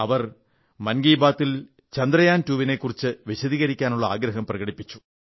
അവർ മൻ കീ ബാത്തിൽ ചന്ദ്രയാൻ2 നെക്കുറിച്ച് വിശദീകരിക്കാനുള്ള ആഗ്രഹം പ്രകടിപ്പിച്ചു